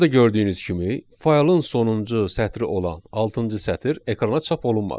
Burada gördüyünüz kimi faylın sonuncu sətri olan altıncı sətr ekrana çap olunmadı.